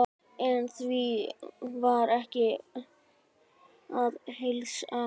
En því var ekki að heilsa.